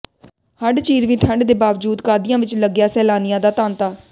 ਹੱਡ ਚੀਰਵੀਂ ਠੰਢ ਦੇ ਬਾਵਜੂਦ ਕਾਦੀਆਂ ਵਿੱਚ ਲੱਗਿਆ ਸੈਲਾਨੀਆਂ ਦਾ ਤਾਂਤਾ